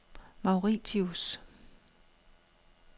Mauritius